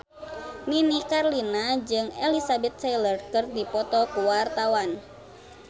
Nini Carlina jeung Elizabeth Taylor keur dipoto ku wartawan